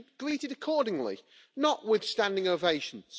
It should be greeted accordingly, not with standing ovations.